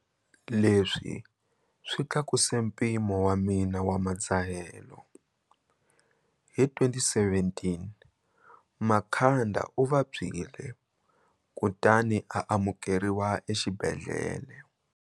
Leswi swi tlakuse mpimo wa mina wa madzahelo. Hi 2017, Makhanda u vabyile kutani a amukeriwa exibedhlele.